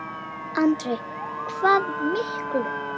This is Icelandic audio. Andri: Hvað miklum?